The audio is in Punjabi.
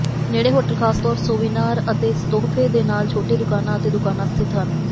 ਨੇੜੇ ਹੋਟਲ ਖਾਸ ਤੌਰ ਸੋਵੀਨਾਰ ਅਤੇ ਤੋਹਫ਼ੇ ਦੇ ਨਾਲ ਛੋਟੇ ਦੁਕਾਨਾ ਅਤੇ ਦੁਕਾਨਾ ਸਥਿਤ ਹਨ